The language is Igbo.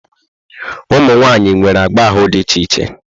Ụmụ nwaanyị nwere agba ahụ dị iche iche.